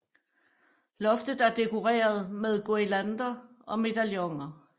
Loftet er dekoreret med guirlander og medaljoner